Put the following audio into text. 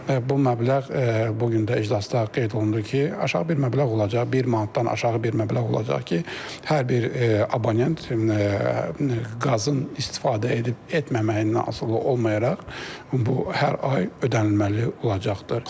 Bu məbləğ bu gün də iclasda qeyd olundu ki, aşağı bir məbləğ olacaq, bir manatdan aşağı bir məbləğ olacaq ki, hər bir abonent qazın istifadə edib-etməməyindən asılı olmayaraq bu hər ay ödənilməli olacaqdır.